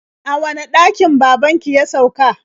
A wane ɗakin baban ki ya sauka?